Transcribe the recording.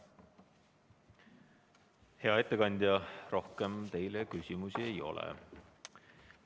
Hea ettekandja, rohkem teile küsimusi ei ole.